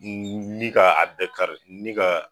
N ni k'a bɛɛ kari ni ka